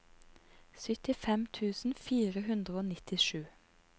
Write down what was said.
syttifem tusen fire hundre og nittisju